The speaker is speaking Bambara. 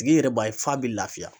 Tigi yɛrɛ b'a ye f'a bi lafiya.